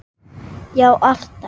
Já alltaf.